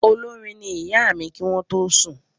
Olórin ní ìyá mí kí wọn tó sùn